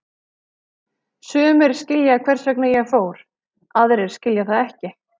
Sumir skilja hvers vegna ég fór, aðrir skilja það ekki.